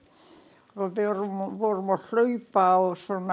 og við vorum að hlaupa á svona